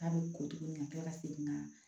K'a bɛ ko tuguni ka kila ka segin ka